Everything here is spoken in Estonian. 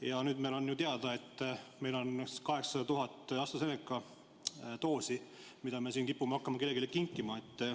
Ja nüüd on ju teada, et meil on 800 000 AstraZeneca doosi, mida me kipume hakkama kellelegi kinkima.